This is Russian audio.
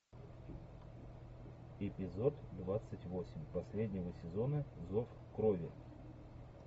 эпизод двадцать восемь последнего сезона зов крови